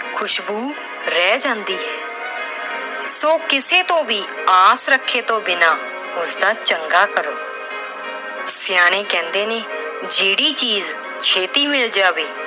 ਖੁਸ਼ਬੂ ਰਹਿ ਜਾਂਦੀ ਏ। so ਕਿਸੇ ਤੋਂ ਵੀ ਆਸ ਰੱਖੇ ਤੋਂ ਬਿਨਾਂ ਉਸ ਦਾ ਚੰਗਾ ਕਰੋ। ਸਿਆਣੇ ਕਹਿੰਦੇ ਨੇ ਜਿਹੜੀ ਚੀਜ ਛੇਤੀ ਮਿਲ ਜਾਵੇ